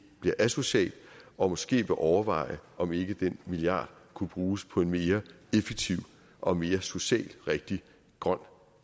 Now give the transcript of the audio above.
bliver asocial og måske vil overveje om ikke den millard kunne bruges på en mere effektiv og mere socialt rigtig grøn